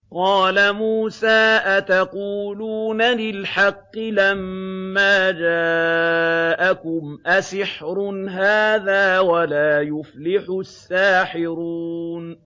قَالَ مُوسَىٰ أَتَقُولُونَ لِلْحَقِّ لَمَّا جَاءَكُمْ ۖ أَسِحْرٌ هَٰذَا وَلَا يُفْلِحُ السَّاحِرُونَ